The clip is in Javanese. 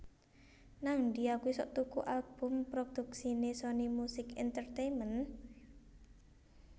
Nangdi aku isok tuku album produksine Sony Music Entertainment?